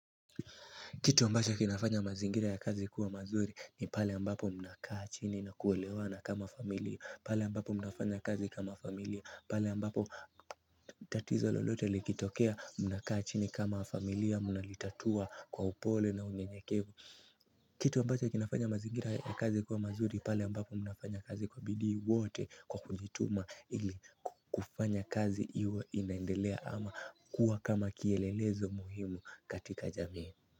Kitu ambacho kinafanya mazingira ya kazi kuwa mazuri ni pale ambapo mnakaa chini na kuelewana kama familia pale ambapo mnafanya kazi kama familia pale ambapo tatizo lolote likitokea mnakaa chini kama familia mnalitatua kwa upole na unyenyekevu kitu ambacho kinafanya mazingira ya kazi kuwa mazuri pale ambapo mnafanya kazi kwa bidii wote kwa kujituma ili kufanya kazi iwe inaendelea ama kuwa kama kielelezo muhimu katika jamii.